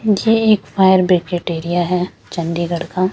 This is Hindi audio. ये एक फायर ब्रेकेट एरिया है चंडीगढ़ का --